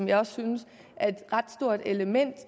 jeg også synes er et ret stort element